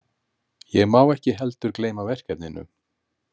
Ég má ekki heldur gleyma verkefninu.